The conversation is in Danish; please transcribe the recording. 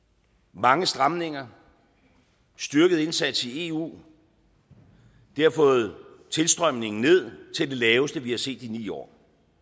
mange stramninger styrket indsats i eu har fået tilstrømningen ned til det laveste vi har set i ni år